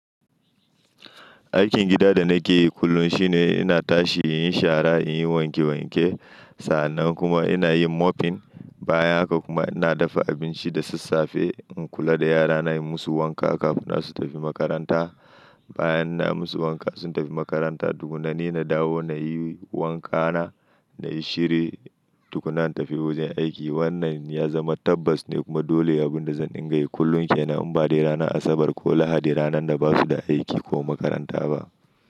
Aikin gida da nake yi kullum shine ina tashi in yi shara, in yi wanke wanke. Sa'an nan kuma ina yin mopping. Bayan haka kuma ina dafa abinci da sassafe in kula da yarana, yi musu wanka kafin su tafi makaranta. Bayan na yi musu wanka sun tafi makaranta tukuna ni na dawo na yi wanka na, na yi shiri tukuna na tafi wajen aiki. Wannan ya zama tabbas ne kuma dole ya bi da zan dinga yi kullum kenan in ba dai ranar Asabar ko Lahadi, ranar da basu da aiki ko makaranta ba.